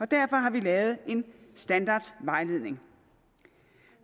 derfor har vi lavet en standardvejledning